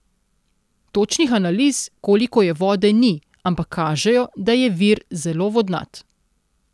Točnih analiz, koliko je vode, ni, ampak kažejo, da je vir zelo vodnat.